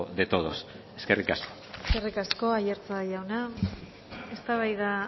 de todos eskerrik asko eskerrik asko aiartza jauna eztabaida